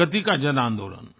प्रगति का जनआन्दोलन